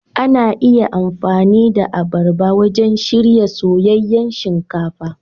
Ana iya amfani da abarba wajen shirya soyayyen shinkafa.